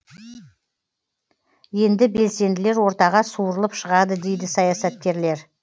енді белсенділер ортаға суырылып шығады дейді саясаткерлер